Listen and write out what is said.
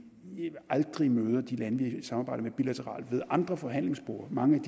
aldrig møder de lande vi samarbejder med bilateralt ved andre forhandlingsborde mange